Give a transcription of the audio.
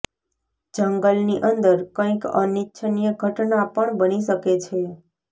જંગલની અંદર કંઇક અનિચ્છનિય ઘટના પણ બની શકે છે